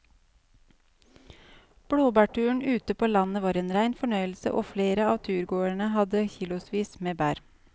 Blåbærturen ute på landet var en rein fornøyelse og flere av turgåerene hadde kilosvis med bær.